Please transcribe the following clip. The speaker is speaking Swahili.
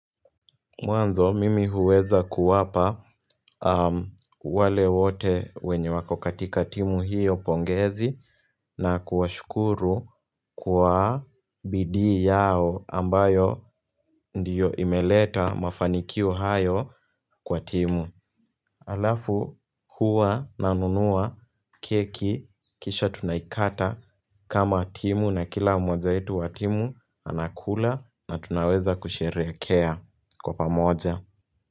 Mwanzo, mimi huweza kuwapa wale wote wenye wako katika timu hiyo pongezi na kuwashukuru kwa bidii yao ambayo ndiyo imeleta mafanikio hayo kwa timu. Halafu huwa nanunua keki kisha tunaikata kama timu na kila mmoja wetu wa timu anakula na tunaweza kusherehekea kwa pamoja.